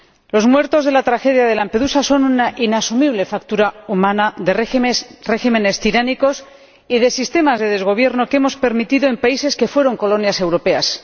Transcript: Los muertos de la tragedia de Lampedusa son una inasumible factura humana de regímenes tiránicos y de sistemas de desgobierno que hemos permitido en países que fueron colonias europeas.